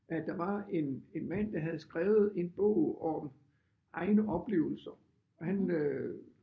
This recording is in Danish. At der var en en mand der havde skrevet en bog om egne oplevelser og han øh